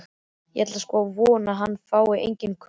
Ég ætla sko að vona að hann fái engin köst.